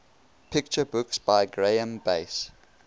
picture books by graeme base